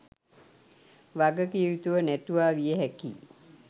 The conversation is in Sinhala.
වග කිව යුතුව නැතුවා විය හැකියි